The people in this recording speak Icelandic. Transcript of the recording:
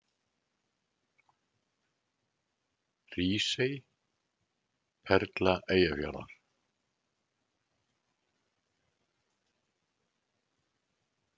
Hrísey: Perla Eyjafjarðar.